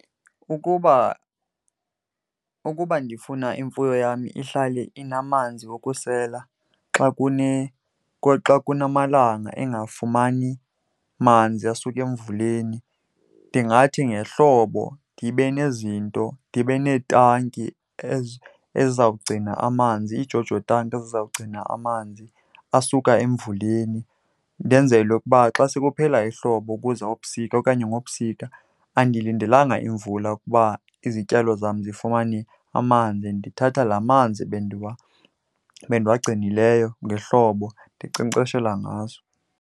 Ukuba, ukuba ndifuna imfuyo yam ihlale inamanzi wokusela xa , xa kunamalanga engafumani manzi asuka emvuleni, ndingathi ngehlobo ndibe nezinto, ndibe neetanki ezizawugcina amanzi, iiJoJo tanki ezizawugcina amanzi asuka emvuleni. Ndenzele ukuba xa sekuphela ihlobo kuza ubusika okanye ngobusika, andilindelanga imvula ukuba izityalo zam zifumane amanzi, ndithatha laa manzi bendiwagcinileyo ngehlobo ndinkcenkceshela ngazo.